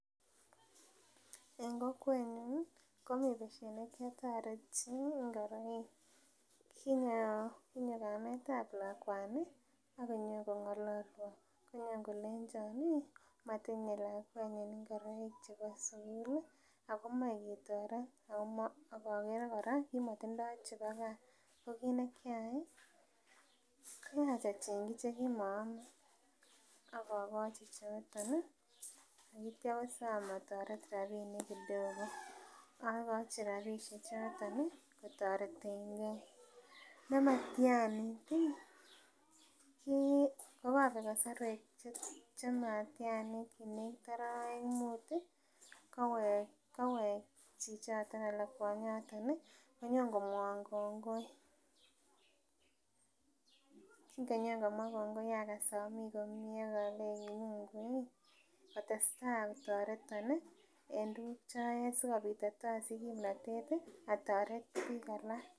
Eng kokwenyun komi besiet nekiatoret chi ngoroik. Kinan konyo kametab lakwani ak konyokongalwon. Konyo ak kolenjan ii, matinye lakwenyin ingoroik chebo sugul ago moe ketoret ago ma, ak agere kora motindo chebo kaa. Ko kit ne kiyai, koyach achengji che kimoaman ak akochi chotok ak kitya kosom ataret rapinik kidogo. Agochi rapisiechoto kotaretenge. Nematianit ii, kiit kokabek kasarwek chematianit, kinegit arawek mut kowek chichoto anan kwonyigan konyon komwawon kongoi, kingonyokomwawon kongoi agas ami komie ak alei Munguii kotesta kotaretan en tuguk choyae sikopit itasich kimnatet ataret biik alak.